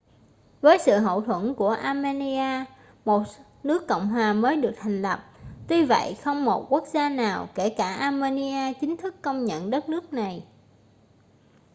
với sự hậu thuẫn của armenia một nước cộng hòa mới được thành lập tuy vậy không một quốc gia nào kể cả armenia chính thức công nhận đất nước này